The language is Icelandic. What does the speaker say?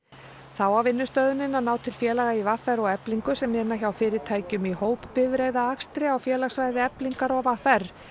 þá á vinnustöðvunin að ná til félaga í v r og Eflingu sem vinna hjá fyrirtækjum í á félagssvæði Eflingar og v r